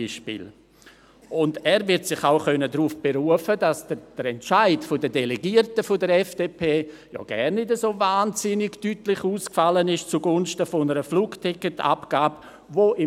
Er wird sich auch darauf berufen können, dass der Entscheid der Delegierten der FDP gar nicht so deutlich zugunsten einer Flugticketabgabe ausgefallen ist.